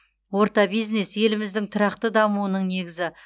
орта бизнес еліміздің тұрақты дамуының негізі